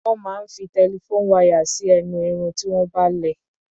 Wón máa ń fi telephone wire sí ẹnu Irun tí wọ́n bá lẹ̀.